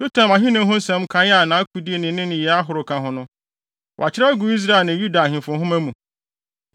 Yotam ahenni ho nsɛm nkae a nʼakodi ne ne nneyɛe ahorow ka ho no, wɔakyerɛw agu Israel ne Yuda ahemfo nhoma mu.